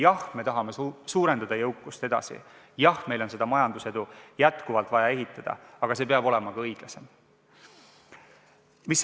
Jah, me tahame edasi jõukust suurendada, jah, meil on vaja majandusedu jätkuvalt ehitada, aga see peab olema ka õiglasem.